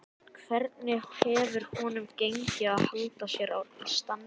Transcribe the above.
Hvernig hefur honum gengið að halda sér í standi?